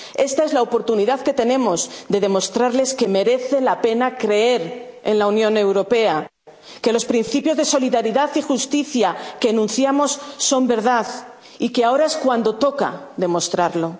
nosotros. Esta es la oportunidad que tenemos de demostrarles que merece la pena creer en la Unión Europea, que los principios de solidaridad y justicia que enunciamos son verdad, y que ahora es cuando toca demostrarlo.